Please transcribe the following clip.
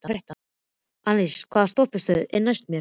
Annalísa, hvaða stoppistöð er næst mér?